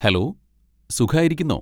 Hello, സുഖായിരിക്കുന്നോ?